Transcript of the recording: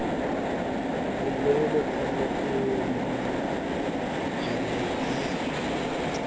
le neeletsano e momohaneng e